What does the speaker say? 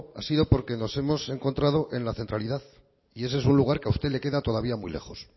ha sido porque nos hemos encontrado en la centralidad y ese es un lugar que a usted le queda todavía muy lejos